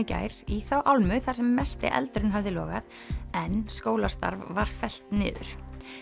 gær í þá álmu þar sem mesti eldurinn hafði logað en skólastarf var fellt niður